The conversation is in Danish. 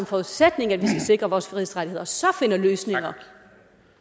forudsætning at vi skal sikre vores frihedsrettigheder og så finder løsninger